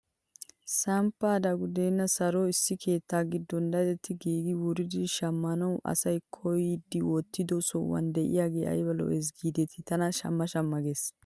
Samppay, dagudeenne soroy issi keettaa giddon daddettidi giigi wuridi shammanaw asaa kooyidi wottido sohuwaan de'iyaagee ayba lo"ees gidetii tana shamma shamma ges!